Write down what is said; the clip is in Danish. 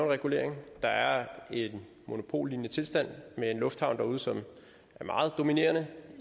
regulering der er en monopollignende tilstand med en lufthavn derude som er meget dominerende